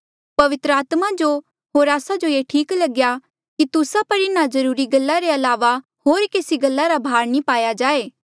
पवित्र आत्मा जो होर आस्सा जो ये ई ठीक लग्या कि तुस्सा पर इन्हा जरूरी गल्ला रे अलावा होर केसी गल्ला रा भार नी पाया जाए